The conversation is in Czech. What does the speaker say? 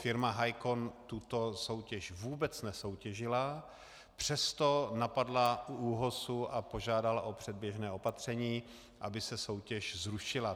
Firma Hicon tuto soutěž vůbec nesoutěžila, přesto napadla u ÚOHSu a požádala o předběžné opatření, aby se soutěž zrušila.